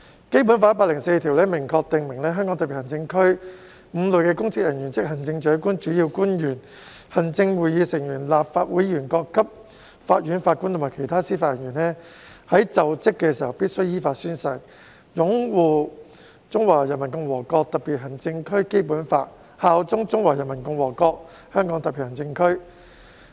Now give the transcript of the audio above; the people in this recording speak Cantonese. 《基本法》第一百零四條明確訂明香港特別行政區5類公職人員，即行政長官、主要官員、行政會議成員、立法會議員、各級法院法官和其他司法人員在就職時必須依法宣誓"擁護《中華人民共和國香港特別行政區基本法》，效忠中華人民共和國香港特別行政區"。